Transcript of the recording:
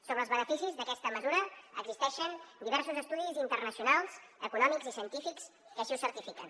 sobre els beneficis d’aquesta mesura existeixen diversos estudis internacionals econòmics i científics que així ho certifiquen